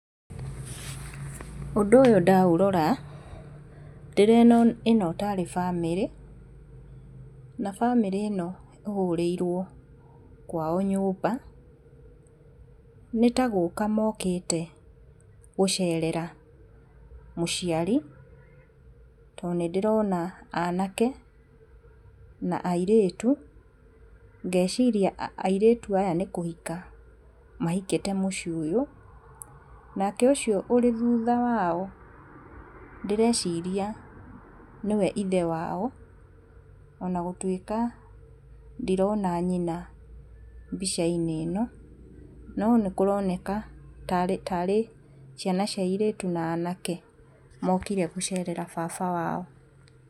Ũndũ ũyũ ndaurora, ndĩrona ĩno tarĩ bamĩrĩ, na bamĩrĩ ĩno ĩhũrĩirwo kwao nyũmba, nĩtagũka mokĩte gũcerera mũciari tondũ nĩndĩrona anake na airĩtu ngeciria airĩtu aya nĩkũhika mahikĩte mũciĩ ũyũ, nake ũcio ũrĩ thutha wao ndĩreciria nĩwe ithe wao ona gũtuĩka ndirona nyina mbicainĩ ĩno no nĩkũroneka tarĩ ciana cia airĩtu na anake mokire gũcerera baba wao.